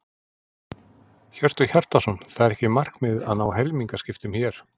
Hjörtur Hjartarson: Það er ekki markmiðið að ná helmingaskiptum hér?